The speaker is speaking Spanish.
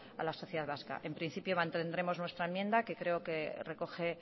a la sociedad vasca en principio mantendremos nuestra enmienda que creo que recoge